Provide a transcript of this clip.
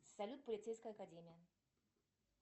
салют полицейская академия